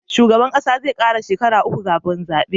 Shugaban ƙasa zai kara shekara uku kafin zabe